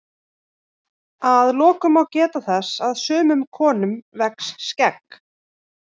Að lokum má geta þess að sumum konum vex skegg.